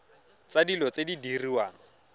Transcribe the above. tsa dilo tse di diriwang